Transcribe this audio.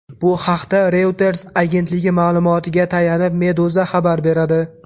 Bu haqda Reuters agentligi ma’lumotiga tayanib, Meduza xabar beradi .